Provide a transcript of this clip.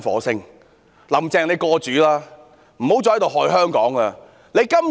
請"林鄭""過主"吧，不要再害香港了。